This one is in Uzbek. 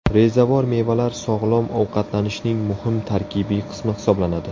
Rezavor mevalar sog‘lom ovqatlanishning muhim tarkibiy qismi hisoblanadi.